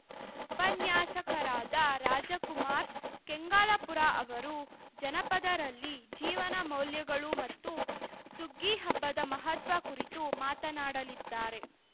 ಉಪನ್ಯಾಸಕರಾದ ರಾಜಕುಮಾರ್‌ ಕೆಂಗಲಾಪುರ್‌ ಅವರು ಜನಪದರಲ್ಲಿ ಜೀವನ ಮೌಲ್ಯಗಳು ಮತ್ತು ಸುಗ್ಗಿಹಬ್ಬದ ಮಹತ್ವ ಕುರಿತು ಮಾತನಾಡಲಿದ್ದಾರೆ